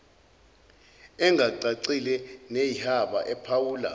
engacacile neyihaba ephawula